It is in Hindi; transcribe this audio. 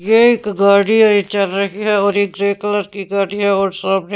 ये एक गाड़ी ये चल रही है और ये ग्रे कलर की गाड़ी है और--